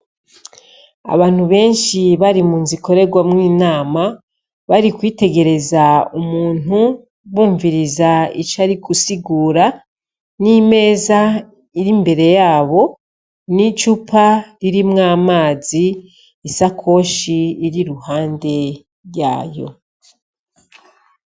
Abantu benshi bari mu nzu ikorerwamwo inama bari kwitegereza umuntu bumviriza ico ari gusigura, n'imeza iri imbere yabo n'icupa ririmwo amazi isakoshi iri iruhande yayo.